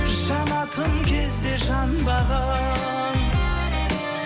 жанатын кезде жанбаған